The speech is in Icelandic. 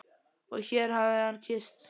Og hér hér hafði hann kysst